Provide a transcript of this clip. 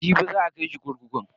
Jibi za a kai shi kurkuku.